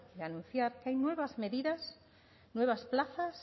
de anunciar que hay nuevas medidas nuevas plazas